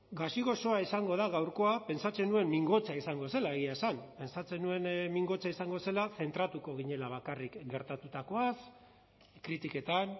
gazi gozoa izango da gaurkoa pentsatzen nuen mingotsa izango zela egia esan pentsatzen nuen mingotsa izango zela zentratuko ginela bakarrik gertatutakoaz kritiketan